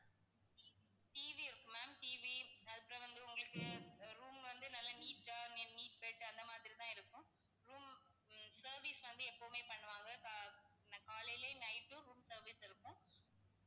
TV இருக்கு ma'am TV அப்பறம் வந்து உங்களுக்கு room வந்து நல்ல neat ஆ neat bed அந்த மாதிரிதான் இருக்கும். room ஹம் service வந்து எப்பவுமே பண்ணுவாங்க. கா~காலைலயும் night உம் service இருக்கும்.